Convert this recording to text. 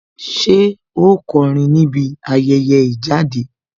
Ṣé ó kọrin níbi ayẹyẹ ìjáde